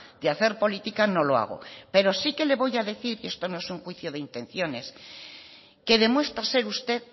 de hacer política no lo hago pero sí que le voy a decir y esto no es juicio de intenciones que demuestra ser usted